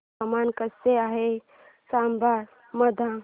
हवामान कसे आहे चंबा मध्ये